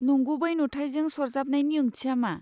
नंगुबै नुथाइजों सरजाबनायनि ओंथिया मा?